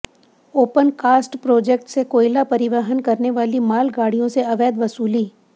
open cast project से कोयला परिवहन करने वाली माल गाड़ियों से अवैध वसूली